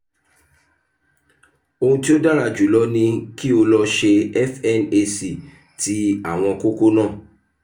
ohun tí ó dára jùlọ ni kí o lọ ṣe fnac ti àwọn kókó náà